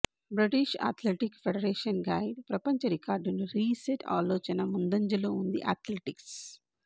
British athletic federation guide ప్రపంచ రికార్డును reset ఆలోచన ముందంజలో ఉంది అథ్లెటిక్స్